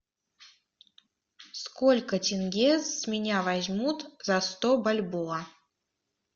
сколько тенге с меня возьмут за сто бальбоа